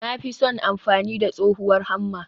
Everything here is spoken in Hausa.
Na fi son amfani da tsohuwar Hammer.